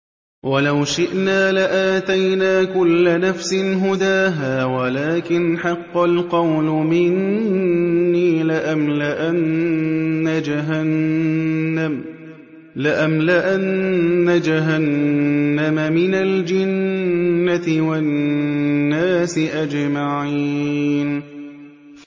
وَلَوْ شِئْنَا لَآتَيْنَا كُلَّ نَفْسٍ هُدَاهَا وَلَٰكِنْ حَقَّ الْقَوْلُ مِنِّي لَأَمْلَأَنَّ جَهَنَّمَ مِنَ الْجِنَّةِ وَالنَّاسِ أَجْمَعِينَ